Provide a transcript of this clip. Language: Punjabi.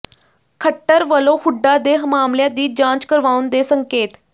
ਖੱਟਰ ਵਲੋਂ ਹੁੱਡਾ ਦੇ ਮਾਮਲਿਆਂ ਦੀ ਜਾਂਚ ਕਰਵਾਉਣ ਦੇ ਸੰਕੇਤ